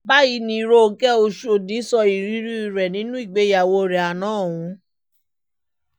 báyìí ni ronke oshọ́dì sọ ìrírí rẹ̀ nínú ìgbéyàwó rẹ̀ àná ọ̀hún